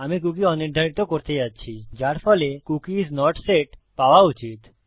আমি কুকী অনির্ধারিত করতে যাচ্ছি যার ফলে কুকি আইএস নট সেট পাওয়া উচিত